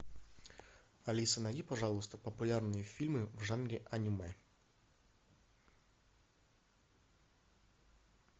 алиса найди пожалуйста популярные фильмы в жанре аниме